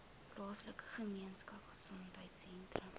plaaslike gemeenskapgesondheid sentrum